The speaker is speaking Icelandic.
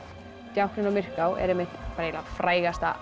djákninn á Myrká er einmitt frægasta